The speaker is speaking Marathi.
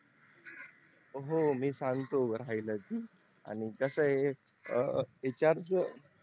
हो मी सांगतो राहिलच आणि कस आहे HR च